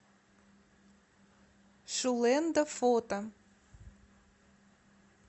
шулэндо фото